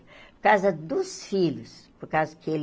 Por causa dos filhos, por causa que ele...